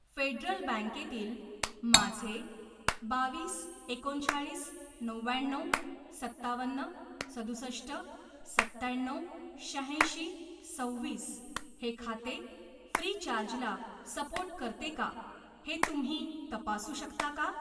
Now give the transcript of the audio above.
Federal बँके तील माझे बावीस एकोणचाळीस नव्याण्णव सत्तावन्न सदुसष्ट सत्त्याण्णव शहाऐंशी सव्वीस हे खाते फ्रीचार्ज ला सपोर्ट करते का ते तुम्ही तपासू शकता का?